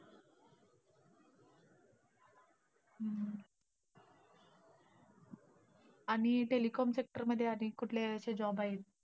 आणि telecom sector मध्ये आणि कुठले अशे job आहेत?